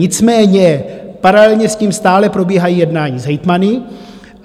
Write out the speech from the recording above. Nicméně paralelně s tím stále probíhají jednání s hejtmany.